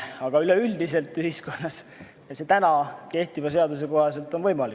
Aga üleüldiselt ühiskonnas täna kehtiva seaduse kohaselt on see võimalik.